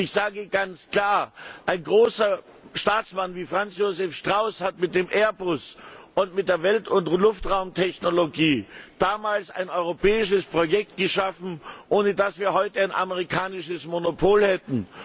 Ich sage ganz klar, ein großer Staatsmann wie Franz Josef Strauß hat mit dem Airbus und mit der Welt und Luftraumtechnologie damals ein europäisches Projekt geschaffen, ohne das wir heute ein amerikanisches Monopol hätten.